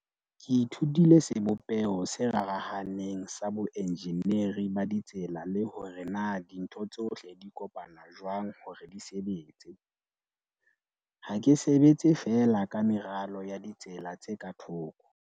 "Ke ithutile sebopeho se rarahaneng sa boenjeneri ba ditsela le hore na dintho tsohle di kopana jwang hore di sebetse. Ha ke sebetse fee la ka meralo ya ditsela tse ka thoko."